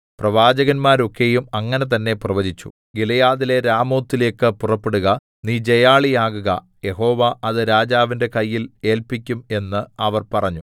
പ്രവാചകന്മാരൊക്കെയും അങ്ങനെ തന്നെ പ്രവചിച്ചു ഗിലെയാദിലെ രാമോത്തിലേക്ക് പുറപ്പെടുക നീ ജയാളിയാകുക യഹോവ അത് രാജാവിന്റെ കയ്യിൽ ഏല്പിക്കും എന്ന് അവർ പറഞ്ഞു